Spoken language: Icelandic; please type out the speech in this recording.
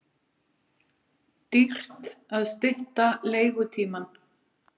Dýrt að stytta leigutímann